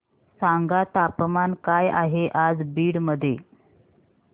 सांगा तापमान काय आहे आज बीड मध्ये